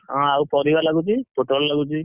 ହଁ ଆଉ ପରିବା ଲାଗୁଛି ପୋଟଳ ଲାଗୁଛି।